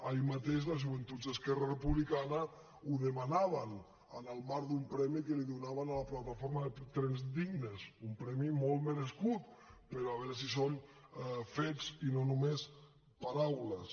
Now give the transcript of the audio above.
ahir mateix les joventuts d’esquerra republicana ho demanaven en el marc d’un premi que li donaven a la plataforma trens dignes un premi molt merescut però a veure si són fets i no només paraules